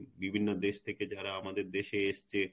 বিভিন্ন দেশ থেকে যারা আমাদের দেশে এসছে